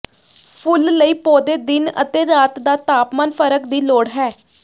ਫੁੱਲ ਲਈ ਪੌਦੇ ਦਿਨ ਅਤੇ ਰਾਤ ਦਾ ਤਾਪਮਾਨ ਫਰਕ ਦੀ ਲੋੜ ਹੈ